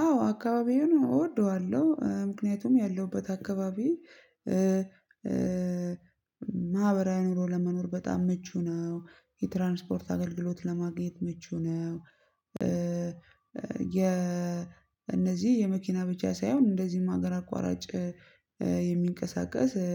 አዎ አካባቢውን እወደዋለሁ ምክንያቱም ያለሁበት አካባቢ ማህበራዊ ኑሮ ለመኖር በጣም ምቹ ነው የትራንስፖርት አገልግሎት ለማግኘት ምቹ ነው። ኧ የ እነዚህ የመኪና ብቻ ሳይሆን እንደዚህም ሀገር አቋራጭ የሚንቀሳቀስ ኧ